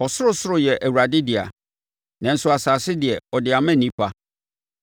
Ɔsorosoro yɛ Awurade dea, nanso asase deɛ, ɔde ama onipa.